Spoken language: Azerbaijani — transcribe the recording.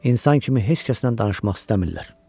İnsan kimi heç kəslə danışmaq istəmirlər.